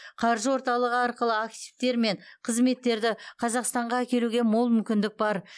қаржы орталығы арқылы активтер мен қызметтерді қазақстанға әкелуге мол мүмкіндік бар